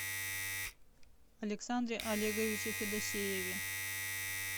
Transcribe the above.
александре олеговиче федосееве